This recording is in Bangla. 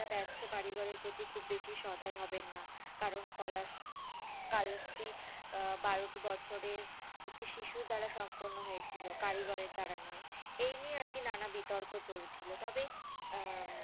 যা বার্থ কারিগরের প্রতি খুব বেশি সদাই হবেন না কারণ ককলাস কালসটি আহ বারোটি বছরের একটু শিশুর দ্বারা সম্পর্ণ হয়েছিল কারিগরের দ্বারা নোই এই নিয়ে আরকি না না বিতর্ক চলছিল তবে উম